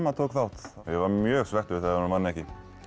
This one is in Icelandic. tók þátt ég var mjög svekktur ég man eftir